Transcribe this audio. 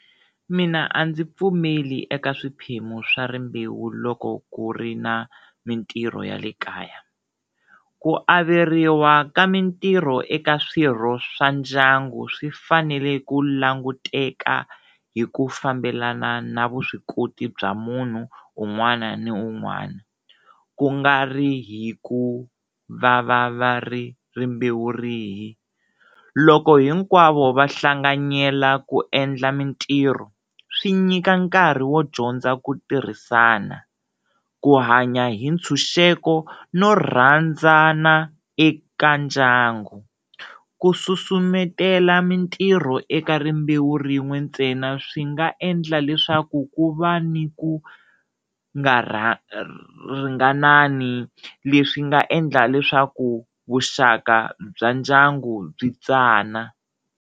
Mina a ndzi pfumeli eka swiphemu swa rimbewu loko ku ri na mintirho ya le kaya, ku averiwa ka mintirho eka swirho swa ndyangu swi fanele ku languteka hi ku fambelana na vuswikoti bya munhu un'wana ni un'wana ku nga ri hi ku va va va ri rimbewu rihi, loko hinkwavo va hlanganyela ku endla mintirho swi nyika nkarhi wo dyondza ku tirhisana, ku hanya hi ntshunxeko no rhandzana eka ndyangu, ku susumetela mintirho eka rimbewu ra rin'we ntsena swi nga endla leswaku ku va ni ku nga ringanani leswi nga endla leswaku vuxaka bya ndyangu byi tsana.